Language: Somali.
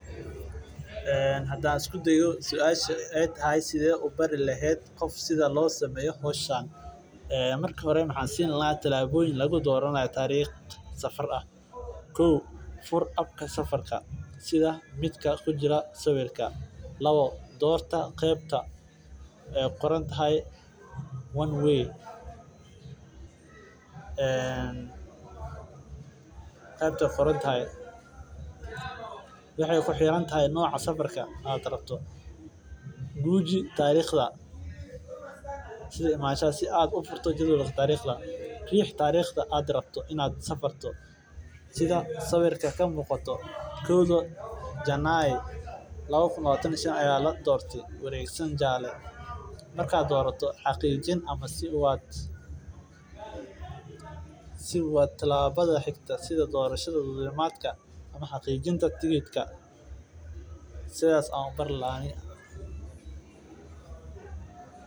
Hadaan isku dayo suashan aay tahay sidee ubari leheed qof sida loo sameeyo howshan waxaan siini lahaa talaboyin sida loo dalbado safarka ama sida loo raadsado guuji tariiqda aad aragto inaad safarto sidaas ayaa doraneysa waa tilabada xigta sida dulmidaaka sidaas ayaan ubari lahaa aniga.